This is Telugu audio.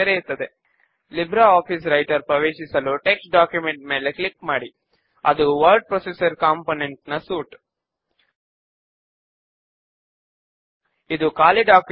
క్వెరీ నేమ్ పైన రైట్ క్లిక్ చేసి పాస్టే పైన క్లిక్ చేయడము ద్వారా ముందుగా మనము ఈ క్వెర్రీను కాపీ చేద్దాము